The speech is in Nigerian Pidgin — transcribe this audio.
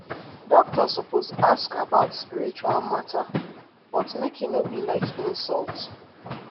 doctor suppose ask about spiritual matter but make e no be like insult.